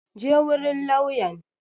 Je wurin lauyan!